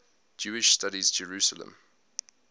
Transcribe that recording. jewish studies jerusalem